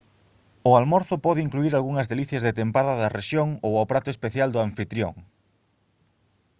o almorzo pode incluír algunhas delicias de tempada da rexión ou o prato especial do anfitrión